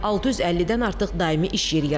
650-dən artıq daimi iş yeri yaradılıb.